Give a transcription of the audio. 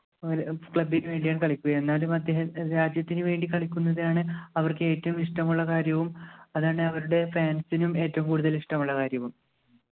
അങ്ങനെ club നു വേണ്ടിയാണ് കളിക്കുക എന്നാലും അദ്ദേഹം രാജ്യത്തിനുവേണ്ടി കളിക്കുന്നതാണ് അവർക്ക് ഏറ്റവും ഇഷ്ടമുള്ള കാര്യവും അതാണ് അവരുടെ fans നും ഏറ്റവും കൂടുതൽ ഇഷ്ടമുള്ള കാര്യവും